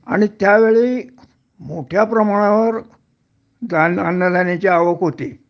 आणि त्यावेळी मोठ्याप्रमाणावर धानअन्नधान्याची आवक होती